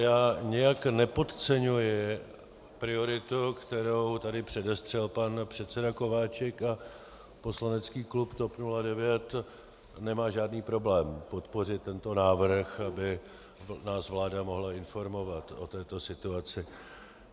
Já nijak nepodceňuji prioritu, kterou tady předestřel pan předseda Kováčik, a poslanecký klub TOP 09 nemá žádný problém podpořit tento návrh, aby nás vláda mohla informovat o této situaci.